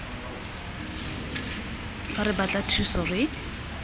fa re batla thuso re